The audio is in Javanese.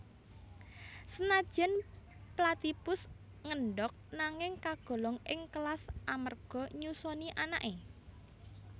Senadyan platypus ngendhog nanging kagolong ing kelas amarga nyusoni anaké